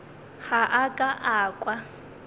ga a ka a kwa